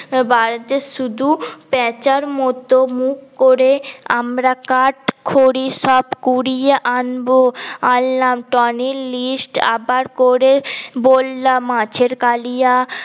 বাড়িতে শুধু প্যাঁচার মত মুখ করে আমরা কাঠ খড়ি সব কুরিয়ে আনলাম টনির list আবার করে বললাম মাছের কালিয়া